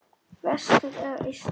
Vestur eða austur?